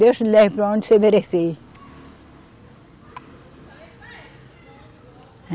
Deus te leve para onde você merecer.